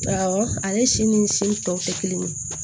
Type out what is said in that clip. Awɔ ale si ni si tɔw tɛ kelen ye